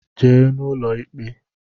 Jee n’ụlọ ikpe!